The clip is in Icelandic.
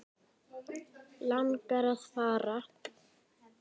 Langar að fara.